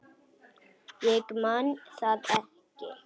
Ég man það ekki.